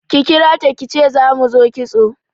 Ki kirata kice za mu zo kitso